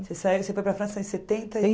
Você saiu você foi para a França em setenta e